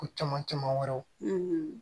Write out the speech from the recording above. Ko caman caman wɛrɛw